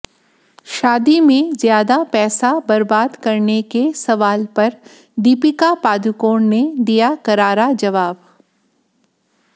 शादी में ज्यादा पैसा बर्बाद करने के सवाल पर दीपिका पादुकोण ने दिया करारा जवाब